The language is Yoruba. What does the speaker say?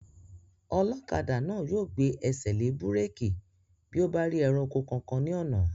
Ọlọ́kadà náà yóò gbé ẹsẹ̀ lé búrèkì bí ó bá rí ẹranko kankan ní ọ̀nà